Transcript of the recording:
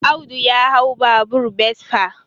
Audu ya hau babur besfa